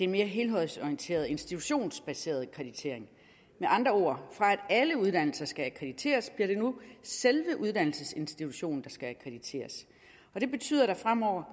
mere helhedsorienteret institutionsbaseret akkreditering med andre ord fra at alle uddannelser skal akkrediteres bliver det nu selve uddannelsesinstitutionen der skal akkrediteres og det betyder at der fremover